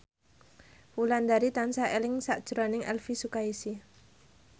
Wulandari tansah eling sakjroning Elvy Sukaesih